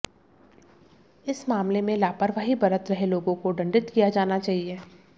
इस मामले में लापरवाही बरत रहे लोगों को दंडित किया जाना चाहिए